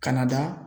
Kana da